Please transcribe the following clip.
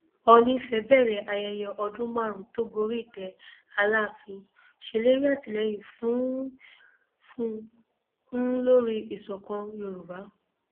oòní ìfẹ bẹrẹ ayẹyẹ ọdún márùnún tó gorí ìtẹ aláàfin ṣèlérí àtìlẹyìn fún un lórí ìṣọkan yorùbá